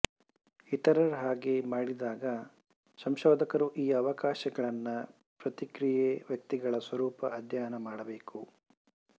ಇತರರ ಹಾಗೆ ಮಾಡಿದಾಗ ಸಂಶೋಧಕರು ಈ ಅವಕಾಶಗಳನ್ನು ಪ್ರತಿಕ್ರಿಯೆ ವ್ಯಕ್ತಿಗಳ ಸ್ವರೂಪ ಅಧ್ಯಯನ ಮಾಡಬೇಕು